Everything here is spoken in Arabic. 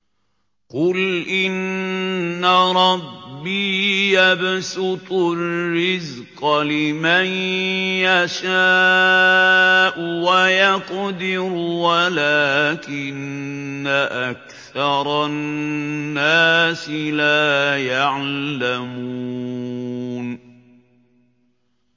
قُلْ إِنَّ رَبِّي يَبْسُطُ الرِّزْقَ لِمَن يَشَاءُ وَيَقْدِرُ وَلَٰكِنَّ أَكْثَرَ النَّاسِ لَا يَعْلَمُونَ